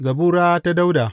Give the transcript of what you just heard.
Zabura ta Dawuda.